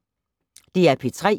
DR P3